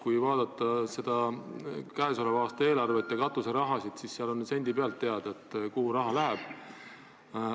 Kui vaadata käesoleva aasta eelarvet ja katuseraha, siis on sendipealt teada, kuhu raha läheb.